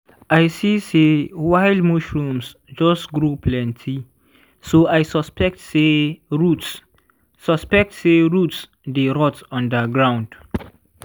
i see say wild mushrooms just grow plenty so i suspect say roots suspect say roots dey rot under ground.